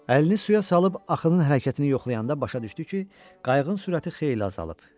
Əlini suya salıb axının hərəkətini yoxlayanda başa düşdü ki, qayığın sürəti xeyli azalıb.